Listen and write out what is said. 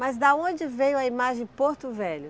Mas de onde veio a imagem Porto Velho?